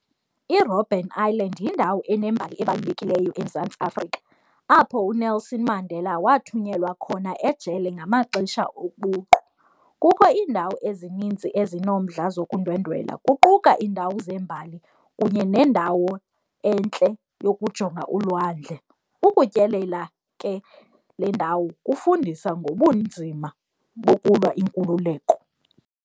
IRobben Island yindawo enembali ebalulekileyo eMzantsi Afrika apho uNelson Mandela wathunyelwa khona ejele ngamaxesha obuqu, kukho iindawo ezinintsi ezinomdla zokundwendwela kuquka iindawo zeembali kunye nendawo entle yokujonga ulwandle. Ukutyelela ke le ndawo kufundisa ngobunzima bokulwa inkululeko.